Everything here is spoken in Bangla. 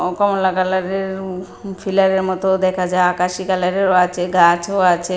ও কমলা কালারের পিলারের মতোও দেখা যায় আকাশী কালারেরও আছে গাছও আছে।